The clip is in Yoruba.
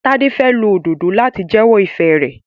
Tade fè ló Òdòdó láti jewo ifẹ rẹ.